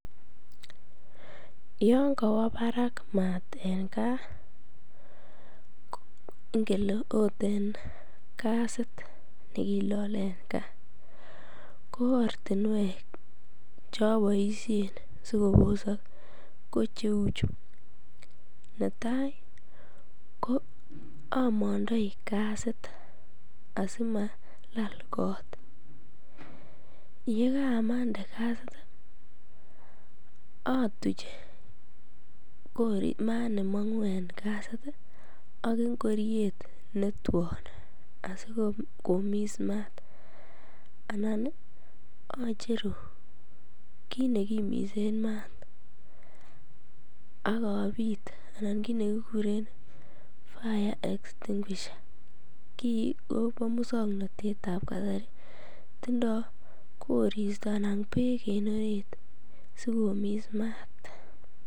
Yangawa Barak mat en gaa ingelenokot en gasit ilale en gaa koartinwek cheabaishen sikobosak ko cheuchu netai ko Amanda I gasit simalal kot yekamande gasit atuch mat nemangu en gasit ak ingoriet Newton asikomis mat anan acheru kit nekimisen mat akabit anan kit nekikuren fire extinguisher ki Koba moswaknatet ab kasari tindo koristo anan bekben orit sikomis mat.